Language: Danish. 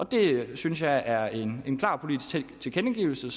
det synes jeg er en en klar politisk tilkendegivelse og